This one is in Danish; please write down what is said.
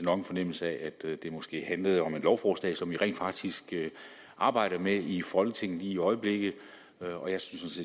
nok en fornemmelse af at det måske handlede om et lovforslag som vi rent faktisk arbejder med i folketinget lige i øjeblikket og jeg synes